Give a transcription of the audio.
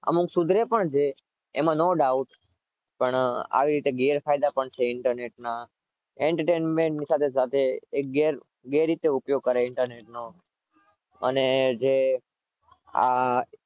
અમુક સુધરે પણ છે એમાં no dought પણ આવા ગેરફાયદા પણ છે internet ના enternainment સાથે સાથે ગેર રીતે ઉપયોગ કરે internet નો અને જે